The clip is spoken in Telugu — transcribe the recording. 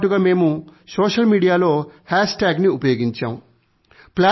దీనితో పాటుగా మేము సోషల్ మీడియాలో హాష్టాగ్ ని ఉపయోగించాము